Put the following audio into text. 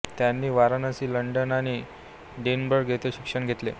त्यांनी वाराणसी लंडन आणि डिनबर्ग येथे शिक्षण घेतले